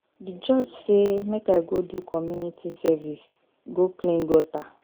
The judge say make I go do community service go clean gutter.